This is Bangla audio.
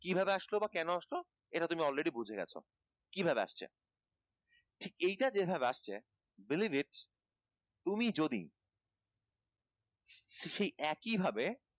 কিভাবে আসলো বা কেনো আসলো এটা তুমি already বুঝে গেছ কিভাবে আসছে এটা যেভাবে আসছে believe it তুমি যদি সেই একই ভাবে